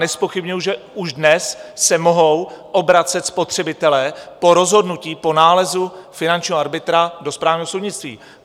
Nezpochybňuji, že už dnes se mohou obracet spotřebitelé po rozhodnutí po nálezu finančního arbitra do správního soudnictví.